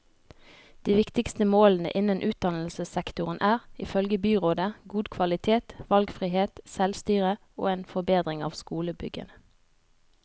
De viktigste målene innen utdannelsessektoren er, ifølge byrådet, god kvalitet, valgfrihet, selvstyre og en forbedring av skolebyggene.